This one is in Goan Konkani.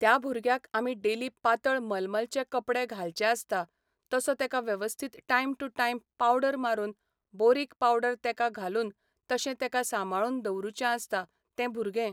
त्या भुरग्याक आमी डेली पातळ मलमलचे कपडे घालचे आसता तसो तेका वेवस्थीत टायम टू टायम पावडर मारून बोरीक पावडर तेका घालून तशें तेका सांबाळून दवरूचें आसता तें भुरगें